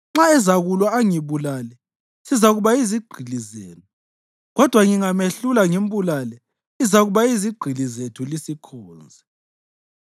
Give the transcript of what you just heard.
Nxa ezakulwa angibulale, sizakuba yizigqili zenu; kodwa ngingamehlula ngimbulale, lizakuba yizigqili zethu lisikhonze.”